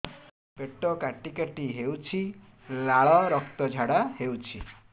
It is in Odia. ପେଟ କାଟି କାଟି ହେଉଛି ଲାଳ ରକ୍ତ ଝାଡା ହେଉଛି